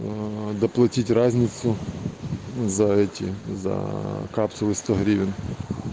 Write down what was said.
доплатить разницу зайти за эти за капсулы сто гривен